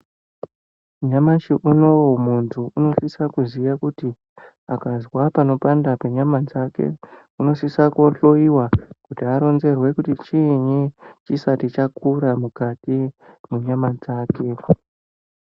Nyamashi unowu muntu unosisa kuziya kuti akazwa panopanda penyama dzake unosisa kuhloyiwa kuti aronzerwe kuti chiini chisati chakura mukati mwenyama dzake.